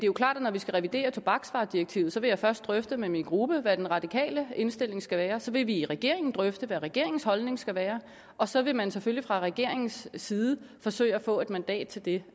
jo klart at når vi skal revidere tobaksvaredirektivet så vil jeg først drøfte med min gruppe hvad den radikale indstilling skal være og så vil man i regeringen drøfte hvad regeringens holdning skal være og så vil man selvfølgelig fra regeringens side forsøge at få et mandat til det